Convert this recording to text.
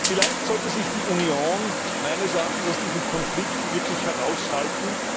Vielleicht sollte sich die Union meines Erachtens aus diesem Konflikt wirklich heraushalten.